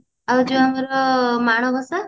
ଆଉ ଯୋଉ ଆମର ମାଣବସା